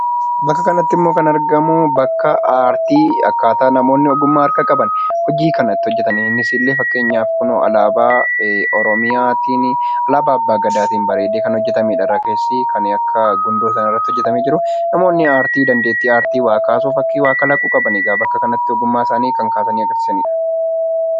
Bakka kanatti kan argamu immoo bakka aartii akkaataa itti namootni ogummaa harkaa qaban hojii kana itti hojjetan innis illee kunoo fakkeenyaaf alaabaa Oromiyaa fi alaabaa abbaa gadaatiin bareedee kan hojjetamedha. Irra keessi kan akka gundoodhaan hojjetamee jiru. Namoonni dandeettii aartii waa kaasuu qaban bakka kanatti ogummaa isaanii kan kaasanii agarsiisanidha.